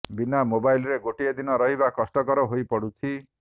ବିନା ମୋବାଇଲରେ ଗୋଟିଏ ଦିନ ରହିବା କଷ୍ଟକର ହୋଇ ପଡ଼ୁଛି